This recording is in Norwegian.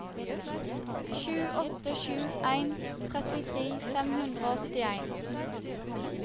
sju åtte sju en trettitre fem hundre og åttien